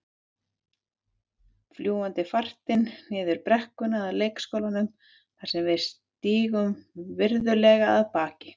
Fljúgandi fartin niður brekkuna að leikskólanum þar sem við stígum virðulega af baki.